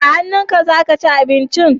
Da hannunka za ka ci abinci?